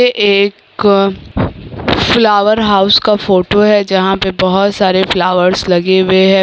ये एक flower house का फोटो है जहां पे बहुत सारे फ्लावर्स लगे हुए है।